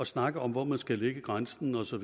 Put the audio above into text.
snakke om hvor man skal lægge grænsen osv og